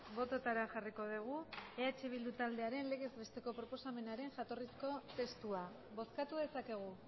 botoetara jarriko dugu eh bilduren legez besteko proposamenaren jatorrizko testua bozkatu dezakegu